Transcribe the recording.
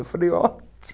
Eu falei, ótimo.